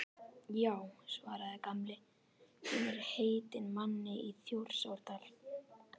Já svaraði Gamli, hún er heitin manni í Þjórsárdal